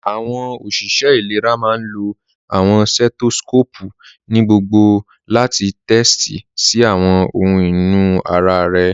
Awọn oṣiṣẹ ilẹ̀rà máá n lọ awọn setoscopu ni gbogbò láti tẹtí sí awọn ọhun inú ara rẹ.